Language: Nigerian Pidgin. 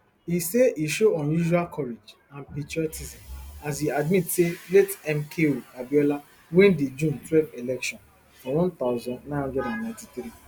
e say e show unusual courage and patriotism as e admit say late mko abiola win di june twelve election for one thousand, nine hundred and ninety-three